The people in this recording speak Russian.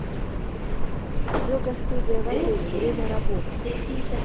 йога студия в отеле время работы